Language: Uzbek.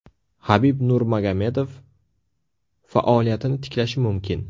Habib Nurmagomedov faoliyatini tiklashi mumkin.